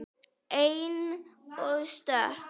Ein og stök.